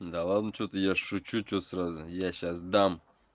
да ладно что ты я же шучу что ты сразу я сейчас дам